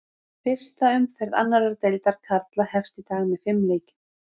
Fyrsta umferð annar deildar karla hefst í dag með fimm leikjum.